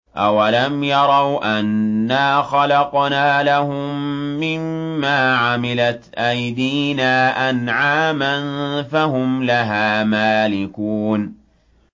أَوَلَمْ يَرَوْا أَنَّا خَلَقْنَا لَهُم مِّمَّا عَمِلَتْ أَيْدِينَا أَنْعَامًا فَهُمْ لَهَا مَالِكُونَ